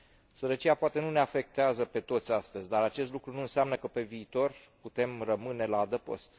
Sărăcia poate nu ne afectează pe toți astăzi, dar acest lucru nu înseamnă că, pe viitor, putem rămâne la adăpost.